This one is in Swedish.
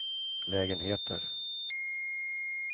lägenheter